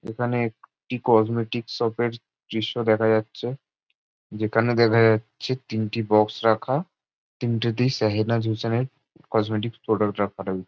এখানে একটি কসমেটিক শপের দৃশ্য দেখা যাচ্ছে । যেখানে দেখা যাচ্ছে তিনটে বক্স রাখা। তিনটেতেই সাহেনাজ হোসেন এর কসমেটিক প্রোডাক্ট রাখা রয়ে--